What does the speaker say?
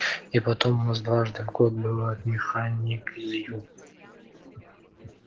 и потом у нас дважды в год бывает механик из ю